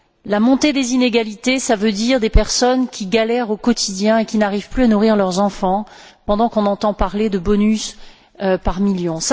La montée des inégalités, cela veut dire des personnes qui galèrent au quotidien et qui n'arrivent plus à nourrir leurs enfants, pendant qu'on entend parler de bonus par millions.